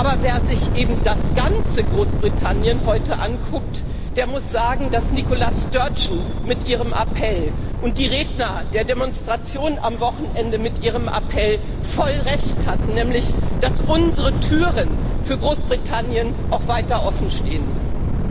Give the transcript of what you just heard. Aber wer sich eben das ganze Großbritannien heute anguckt, der muss sagen, dass Nicola Sturgeon mit ihrem Appell und die Redner der Demonstration am Wochenende mit ihrem Appell voll Recht hatten, nämlich dass unsere Türen für Großbritannien auch weiter offen stehen müssen.